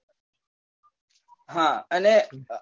હા અને